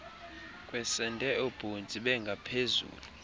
kwesende oobhontsi bengaphezulu